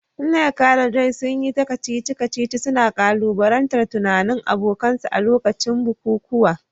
Nneka da Joy, sun yi ta kacici-kacici, suna ƙalubalantar tunanin abokansu a lokacin bukukuwa.